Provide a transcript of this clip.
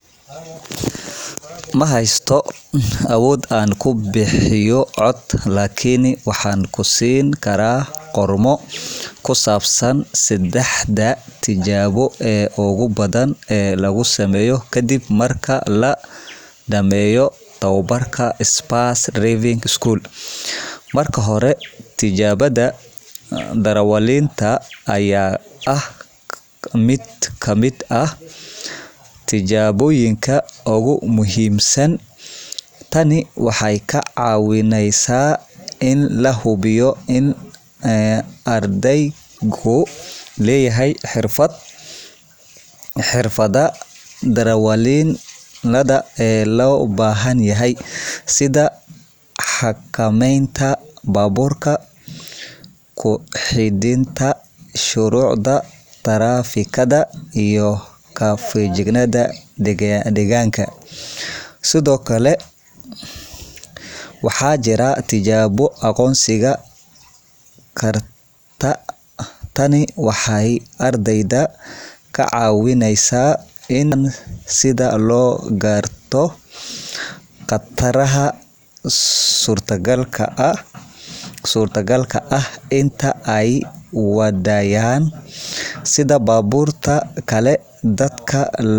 Ma haysto awood aan ku bixiyo cod, laakiin waxaan ku siin karaa qormo ku saabsan saddexda tijaabo ee ugu badan ee la sameeyo ka dib marka la dhameeyo tababarka Spurs Driving School. Marka hore, tijaabada darawalnimada ayaa ah mid ka mid ah tijaabooyinka ugu muhiimsan. Tani waxay ka caawinaysaa in la hubiyo in ardaygu leeyahay xirfadaha darawalnimada ee loo baahan yahay, sida xakameynta baabuurka, ku xidhnaanta shuruucda taraafikada, iyo ka feejignaanta deegaanka. Sidoo kale, waxaa jira tijaabo aqoonsiga khatarta. Tani waxay ardayda ka caawisaa in ay bartaan sida loo garto khataraha suurtagalka ah intii ay wadayaan, sida baabuurta kale, dadka lugayraya, iyo xaaladaha cimilada. Ugu dambeyntii, tijaabooyinka aqoonta sharciyada taraafikada ayaa muhiim-ah. Ardayda waa in ay fahmaan sharciyada iyo xeerarka taraafikada, si ay si ammaan ah u wadagaan jidka. Tani waxay ka caawinaysaa in ay noqdaan darawallo mas'uul ah oo ka shaqeeya badbaadada dadka kale. Saddexdaas tijaabo ee muhiimka ah ayaa ka caawinaya ardayda in ay si hufan oo ammaan ah u gudbaan darawalnimada.